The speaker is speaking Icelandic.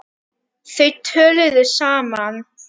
Þau töluðu saman.